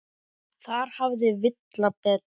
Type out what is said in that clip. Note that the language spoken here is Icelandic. Þar hafði Villa betur.